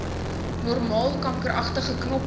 normaal kankeragtige knoppe